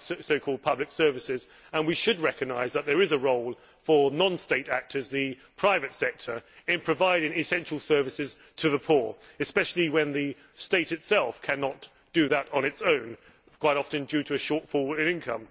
so called public' services, and we should recognise that there is a role for non state actors the private sector in providing essential services to the poor, especially when the state itself cannot do this on its own, quite often owing to a shortfall in income.